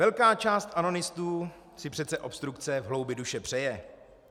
Velká část anonistů si přece obstrukce v hloubi duše přeje.